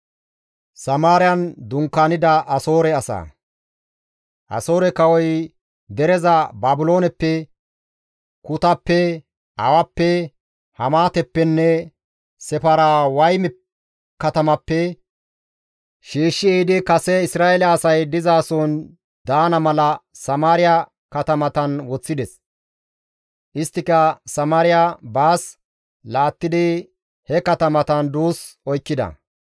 Asoore kawoy dereza Baabilooneppe, Kutappe, Awappe, Hamaateppenne Sefarwayme katamappe shiishshi ehidi kase Isra7eele asay dizason daana mala Samaariya katamatan woththides. Isttika Samaariya baas laattidi he katamatan duus oykkida.